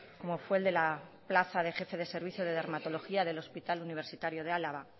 como fue el de la plaza de jefe de servicio de dermatología del hospital universitario de álava